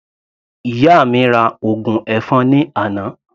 Ìyá mi ra ògùn ẹ̀fọn ní àná.